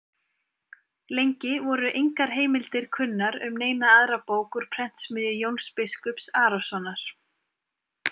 Lengi voru engar heimildir kunnar um neina aðra bók úr prentsmiðju Jóns biskups Arasonar.